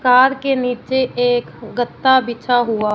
car के नीचे एक गद्दा बिछा हुआ--